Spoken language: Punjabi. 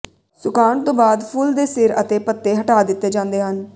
ਸੁਕਾਉਣ ਤੋਂ ਬਾਅਦ ਫੁੱਲ ਦੇ ਸਿਰ ਅਤੇ ਪੱਤੇ ਹਟਾ ਦਿੱਤੇ ਜਾਂਦੇ ਹਨ